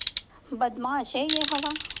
बदमाश है यह हवा